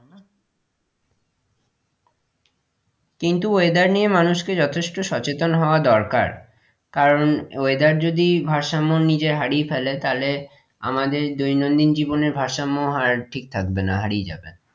কিন্তু weather নিয়ে মানুষকে যথেষ্ট সচেতন হওয়া দরকার কারণ weather যদি ভারসাম্য নিজের হারিয়ে ফেলে তা হলে আমাদের দৈনন্দিন জীবনেও ভারসাম্যও হার ঠিক থাকবে না হারিয়ে যাবে,